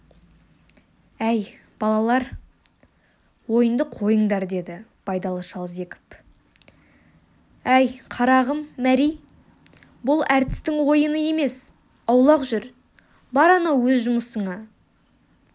әй балалар ойынды қойыңдар деді байдалы шал зекіп әй қарағым мәри бұл әртістің ойыны емес аулақ жүр бар анау өз жұмысыңа